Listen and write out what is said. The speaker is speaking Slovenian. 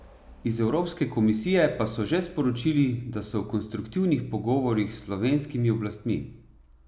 Iz Evropske komisije pa so že sporočili, da so v konstruktivnih pogovorih s slovenskim oblastmi.